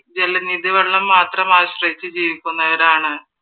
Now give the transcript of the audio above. ജലനിധി വെള്ളം മാത്രം ആശ്രയിച്ചു ജീവിക്കുന്നവരാണ്.